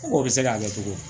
Ko o bɛ se k'a kɛ cogo di